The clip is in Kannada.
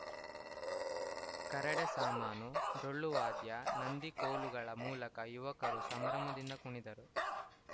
ಕರಡೆ ಸಾಮಾನು ಡೊಳ್ಳುವಾದ್ಯ ನಂದಿಕೋಲುಗಳ ಮೂಲಕ ಯುವಕರು ಸಂಭ್ರಮದಿಂದ ಕುಣಿದರು